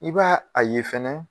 I b'a a ye fɛnɛ